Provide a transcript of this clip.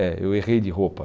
É, eu errei de roupa.